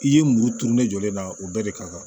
I ye muru turu ne jɔlen na o bɛɛ de kan